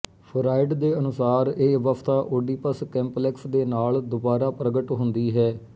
fried ਦੇ ਅਨੁਸਾਰ ਇਹ ਅਵਸਥਾ ਓਡੀਪਸ ਕੰਪਲੈਕਸ ਦੇ ਨਾਲ ਦੁਬਾਰਾ ਪ੍ਰਗਟ ਹੁੰਦੀ ਹੈ